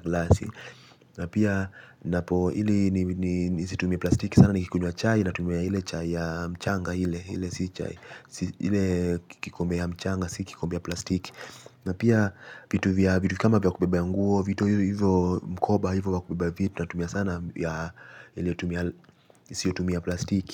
glasi. Na pia napo ili nisitumie plastiki sana nikikunywa chai natumia ile chai ya mchanga ile ile kikombe ya mchanga, si kikikombe ya plastiki. Na pia vitu vya vitu kama vya kubebea nguo, vitu hivo mkoba hivo ya kubeba vitu. Natumia sana yasiotumia plastiki.